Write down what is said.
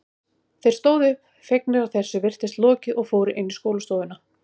Þeir stóðu upp, fegnir að þessu virtist lokið og fóru inn í skólastofuna.